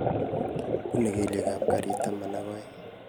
Bunee kelyek kab garit taman ak aeng